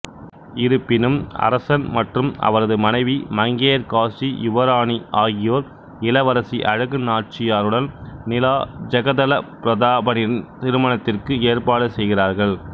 இருப்பினும் அரசன் மற்றும் அவரது மனைவி மங்கையர்க்காசி யுவராணி ஆகியோர் இளவரசி அழகு நாச்சியாருடன்நிலா ஜகதலப்பிரதாபனின் திருமணத்திற்கு ஏற்பாடு செய்கிறார்கள்